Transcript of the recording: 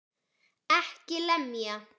EKKI LEMJA!